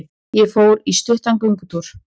Ég fór í stuttan göngutúr.